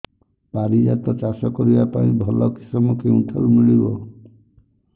ପାରିଜାତ ଚାଷ କରିବା ପାଇଁ ଭଲ କିଶମ କେଉଁଠାରୁ ମିଳିବ